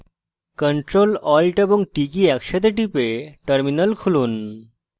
ctrl alt এবং t কী একসাথে টিপে terminal খুলুন